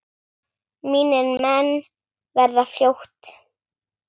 Mínir menn verða fljót